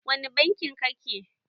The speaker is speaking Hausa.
Wani banki ka ke?